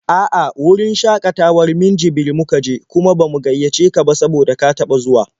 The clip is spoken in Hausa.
A'a, wurin shakatawar Minjibir muka je, kuma ba mu gaiyace ka ba saboda ka taɓa zuwa.